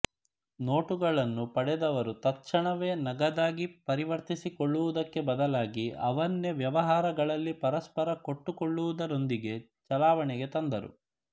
ನೋಟುಗಳನ್ನು ಪಡೆದವರು ತತ್ ಕ್ಷಣವೇ ನಗದಾಗಿ ಪರಿವರ್ತಿಸಿಕೊಳ್ಳುವುದಕ್ಕೆ ಬದಲಾಗಿ ಅವನ್ನೇ ವ್ಯವಹಾರಗಳಲ್ಲಿ ಪರಸ್ಪರ ಕೊಟ್ಟುಕೊಳ್ಳುವುದರೊಂದಿಗೆ ಚಲಾವಣೆಗೆ ತಂದರು